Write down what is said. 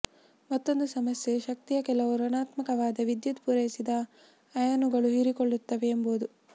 ಮತ್ತೊಂದು ಸಮಸ್ಯೆ ಶಕ್ತಿಯ ಕೆಲವು ಋಣಾತ್ಮಕವಾದ ವಿದ್ಯುತ್ ಪೂರೈಸಿದ ಅಯಾನುಗಳು ಹೀರಿಕೊಳ್ಳುತ್ತವೆ ಎಂಬುದು